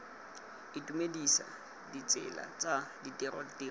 itumedisa ditsela tsa ditiro tiro